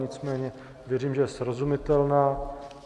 Nicméně věřím, že je srozumitelná.